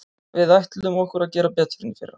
Við ætlum okkur að gera betur en í fyrra.